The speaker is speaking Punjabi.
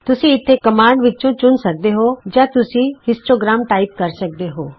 ਤੁਸੀਂ ਇਥੇ ਕਮਾਂਡਜ਼ ਵਿਚੋਂ ਚੁਣ ਸਕਦੇ ਹੋ ਜਾਂ ਤੁਸੀਂ ਸਿਰਫ ਹਿਸਟੋਗ੍ਰਾਮ ਟਾਈਪ ਕਰ ਸਕਦੇ ਹੋ